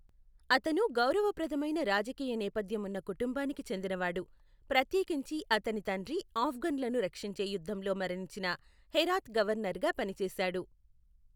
అతను గౌరవప్రదమైన రాజకీయ నేపథ్యం ఉన్న కుటుంబానికి చెందినవాడు, ప్రత్యేకించి అతని తండ్రి ఆఫ్ఘన్లను రక్షించే యుద్ధంలో మరణించిన హెరాత్ గవర్నర్గా పనిచేశాడు.